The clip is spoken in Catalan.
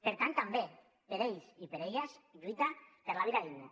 per tant també per a ells i per a elles lluitar per la vida digna